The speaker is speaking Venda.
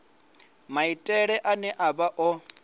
maitele ane a vha o